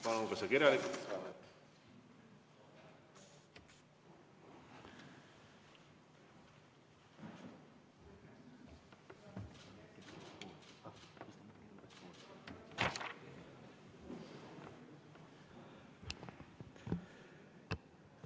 Palun ka see kirjalikult!